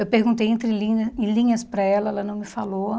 Eu perguntei entrelinha em linhas para ela, ela não me falou.